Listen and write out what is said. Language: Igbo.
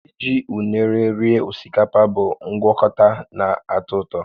Iji unere rie osikapa bụ ngwakọta na-atọ ụtọ